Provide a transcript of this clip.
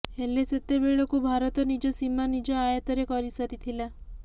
ହେଲେ ସେତେବେଳକୁ ଭାରତ ନିଜ ସୀମା ନିଜ ଆୟତରେ କରିସାରିଥିଲା